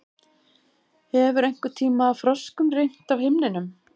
Hefur einhverntíma froskum rignt af himninum?